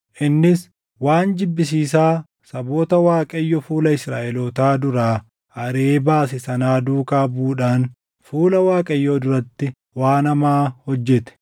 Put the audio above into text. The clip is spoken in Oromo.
Innis waan jibbisiisaa saboota Waaqayyo fuula Israaʼelootaa duraa ariʼee baase sanaa duukaa buʼuudhaan fuula Waaqayyoo duratti waan hamaa hojjete.